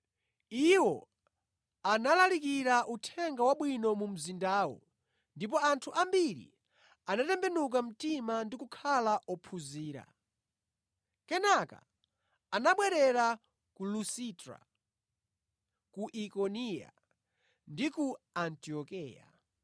Iwo analalikira Uthenga Wabwino mu mzindawo ndipo anthu ambiri anatembenuka mtima ndi kukhala ophunzira. Kenaka anabwerera ku Lusitra, ku Ikoniya ndi ku Antiokeya.